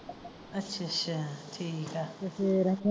ਅੱਛਾ ਅੱਛਾ ਠੀਕ ਆ ਤੇ ਫਿਰ।